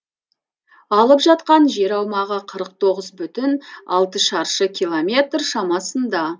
алып жатқан жер аумағы қырық тоғыз бүтін алты шаршы километр шамасында